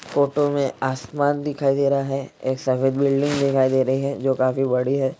Photo में आसमान दिखाई दे रहा है एक सफेद बिल्डिंग दिखाई दे रही है जो काफी बड़ी है।